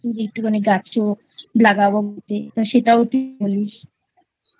যে একটুখানি গাছ লাগাবো তো সেটাও তুই বলিসI